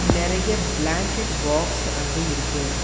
நறைய blanket box அங்க இருக்கு.